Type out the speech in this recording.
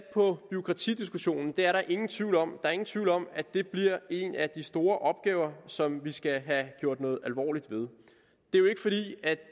på bureaukratidiskussionen det er der ingen tvivl om er ingen tvivl om at det bliver en af de store opgaver som vi skal have gjort noget alvorligt ved